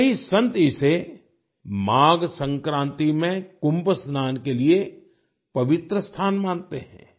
कई संत इसे माघ संक्रांति में कुंभ स्नान के लिए पवित्र स्थान मानते हैं